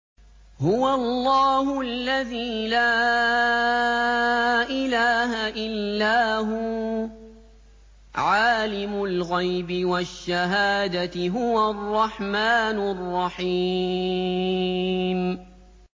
هُوَ اللَّهُ الَّذِي لَا إِلَٰهَ إِلَّا هُوَ ۖ عَالِمُ الْغَيْبِ وَالشَّهَادَةِ ۖ هُوَ الرَّحْمَٰنُ الرَّحِيمُ